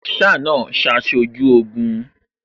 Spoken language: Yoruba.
Masaa náà ṣaṣojú Ogun